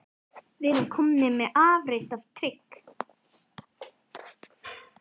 Við erum komnir með afrit af trygg